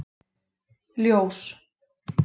Ljós